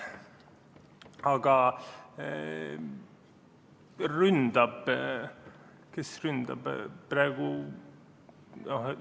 Aga kes praegu ründab?